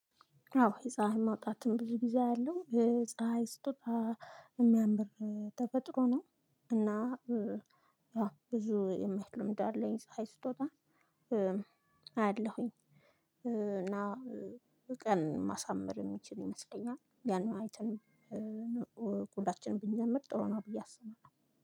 አዎ የፀሀይ ማውጣትም ብዙ ጊዜ አለው የፀሀይ ስጦታ እሚያምር ተፈጥሮ ነው። እና ያው ብዙ የማይል ልምድ አለኝ ፀሀይ ስትወጣ አያለሁኝ። እና ቀን ማሳመር እምችል ይመስለኛል ያን አይተን ሁላችን ብንጀምር ጥሩ ነው። ብዬ አስባለሁ